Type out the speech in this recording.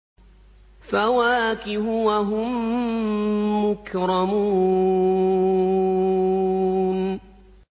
فَوَاكِهُ ۖ وَهُم مُّكْرَمُونَ